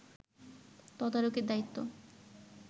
তদারকীর দায়িত্ব